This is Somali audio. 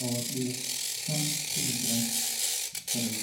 awar dibic shan kilogram/sariir.